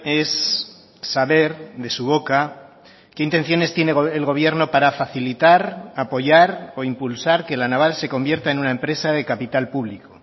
es saber de su boca qué intenciones tiene el gobierno para facilitar apoyar o impulsar que la naval se convierta en una empresa de capital público